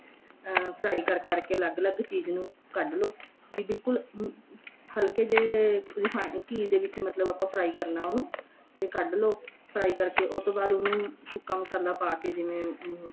ਆ fry ਕਰ ਕਰ ਕੇ ਅੱਲਗ ਅੱਲਗ ਚੀਜ ਨੂੰ ਕੱਡ ਲੋ ਬੀ ਬਿਲਕੁਲ ਹਲਕੇ ਜੇ ਰਿਫੈ ਘੀ ਦੇ ਵਿੱਚ ਆਪਾਂ fry ਕਰਨਾ ਉਨੂੰ ਤੇ ਕੱਡ ਲੋ fry ਕਰਕੇ ਉਸ ਤੋਂ ਬਾਅਦ ਉਨੂੰ ਸੁਕਾ ਮਸਾਲਾ ਪਾ ਕੇ ਜਿਵੇਂ ਆ